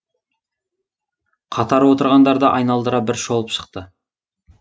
қатар отырғандарды айналдыра бір шолып шықты